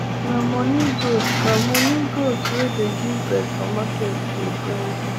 nah money goat nah money goat wey dey give birth for market day bring